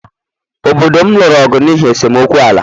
Obodo m lụrụ ọgụ n’ihi esemokwu ala